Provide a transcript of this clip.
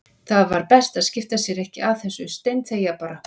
Það var best að skipta sér ekkert af þessu, steinþegja bara.